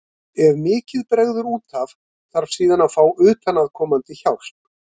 Ef mikið bregður út af þarf síðan að fá utanaðkomandi hjálp.